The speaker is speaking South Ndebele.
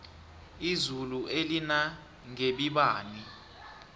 izulu elinangebibani